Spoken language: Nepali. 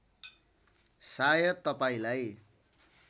सायद तपाईँलाई